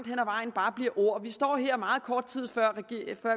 vejen bare bliver ord vi står her meget kort tid før